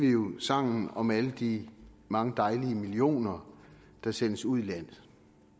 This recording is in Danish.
jo sangen om alle de mange dejlige millioner der sendes ud i landet